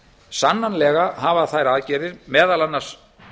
sannanlega hafa þær aðgerðir meðal annars